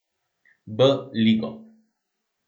B ligo.